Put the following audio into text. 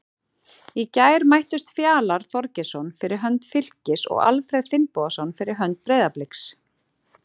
Í gær mættust Fjalar Þorgeirsson fyrir hönd Fylkis og Alfreð Finnbogason fyrir hönd Breiðabliks.